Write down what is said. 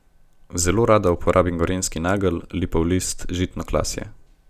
Zelo rada uporabim gorenjski nagelj, lipov list, žitno klasje.